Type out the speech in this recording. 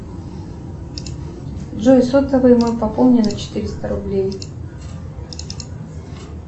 джой сотовый мой пополни на четыреста рублей